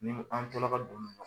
Ni an to la ka don